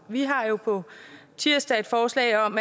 vi har på tirsdag et forslag om